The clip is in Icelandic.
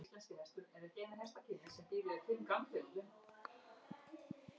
Það á við um matseld eins og smíðar að árangurinn er háður réttu græjunum.